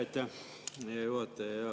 Aitäh, hea juhataja!